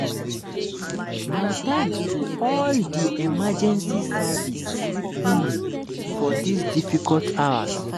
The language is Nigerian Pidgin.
my thanks to all di emergency services um for dis difficult hours."